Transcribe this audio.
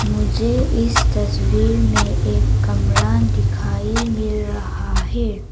मुझे इस तस्वीर में एक कमरा दिखाई मिल रहा है।